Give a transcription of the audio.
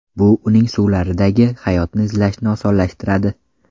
Bu uning suvlaridagi hayotni izlashni osonlashtiradi.